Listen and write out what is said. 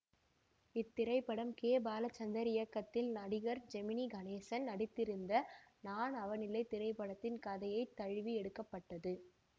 இத்திரைப்படம் கே பாலச்சந்தர் இயக்கத்தில் நடிகர் ஜெமினி கணேசன் நடித்திருந்த நான் அவனில்லை திரைப்படத்தின் கதையை தழுவி எடுக்க பட்டது